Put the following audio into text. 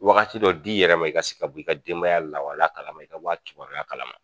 Wagati dɔ d'i yɛrɛ ma i ka se ka bɔ i ka denbaya lawala kalama i ka bɔ a kibaruya kalama.